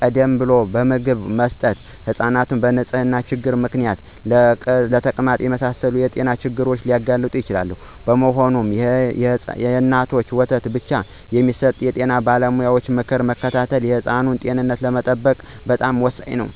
ቀደም ብሎ ምግብ መስጠት ሕፃናትን በንጽህና ችግር ምክንያት ለተቅማጥ የመሳሰሉ የጤና ችግሮች ሊያጋልጥ ይችላል። በመሆኑም፣ የእናት ጡት ወተት ብቻ የመስጠት የጤና ባለሙያዎችን ምክር መከተል የሕፃኑን ጤና ለመጠበቅ በጣም ወሳኝ ነው።